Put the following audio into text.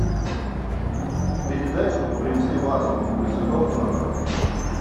передай чтобы принесли вазу для цветов в номер